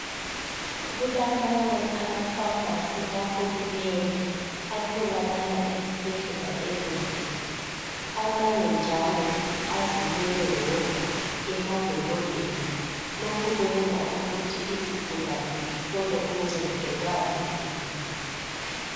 kulamanye ama famasi kahulumende aatholakala dezibhedlela ezinkulu amanye njalo azimele wodwa emadolobheni lokho kuyenza ukuthi izigulane zithole uncedo uma zifuna.